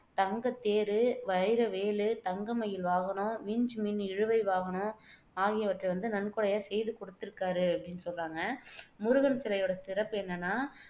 தங்கத் தேரு, வைரவேலு, தங்க மயில் வாகனம், விஞ்ச் மின் இழுவை வாகனம் ஆகியவற்றை நன்கொடையாக செய்து கொடுத்துருக்காரு அப்படின்னு சொல்றாங்க முருகன் சிலையோட சிறப்பு என்னன்னா